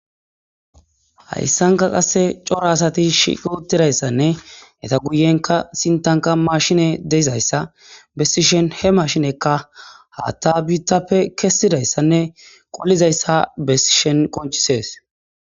Hayssankka qassi cora asati shiutidayss eta guyenkka sinttanikka mashine de'iza assa bessishin he mashinekka haatta biittappe kessidayssanne qollizayssa bessishen qonchchisees.